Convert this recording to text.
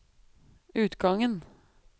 utgangen